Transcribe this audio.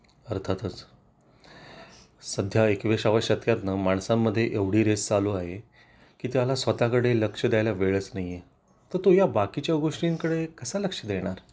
अर्थातच सध्या एकवीसाव्या शतकात ना माणसांमध्ये एवढी रेस चालू आहे की त्याला स्वतःकडे लक्ष द्यायला वेळच नाहीए तर तो या बाकी च्या गोष्टींकडे कसा लक्ष देणार